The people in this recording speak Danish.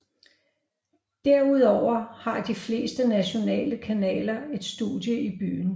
Derudover har de fleste nationale kanaler et studie i byen